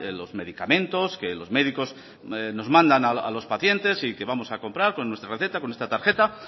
los medicamentos que los médicos nos mandan a los pacientes y que vamos a comprar con nuestra receta con nuestra tarjeta